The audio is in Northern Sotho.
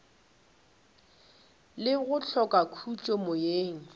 le go hloka khutšo moyeng